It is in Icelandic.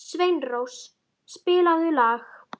Sveinrós, spilaðu lag.